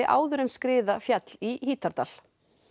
áður en skriða féll í Hítardal